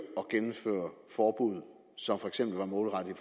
at gennemføre forbud som for eksempel var målrettet i